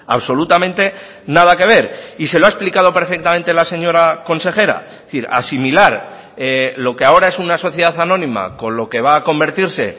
absolutamente nada que ver y se lo ha explicado perfectamente la señora consejera es decir asimilar lo que ahora es una sociedad anónima con lo que va a convertirse